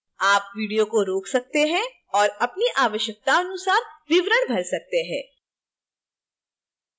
आप video को रोक सकते हैं और अपनी आवश्यकतानुसार विवरण भर सकते हैं